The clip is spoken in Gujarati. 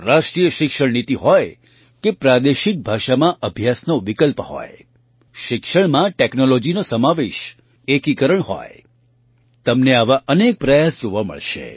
રાષ્ટ્રીય શિક્ષણ નીતિ હોય કે પ્રાદેશિક ભાષામાં અભ્યાસનો વિકલ્પ હોય શિક્ષણમાં ટૅક્નૉલૉજીનો સમાવેશએકીકરણ હોય તમને આવા અનેક પ્રયાસ જોવા મળશે